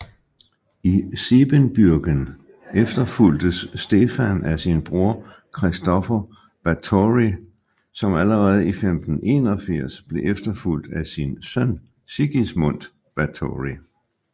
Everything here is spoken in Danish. I Siebenbürgen efterfulgtes Stefan af sin bror Kristofer Báthory som allerede i 1581 blev efterfulgt af sin søn Sigismund Báthory